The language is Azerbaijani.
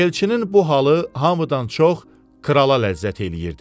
Elçinin bu halı hamıdan çox krala ləzzət eləyirdi.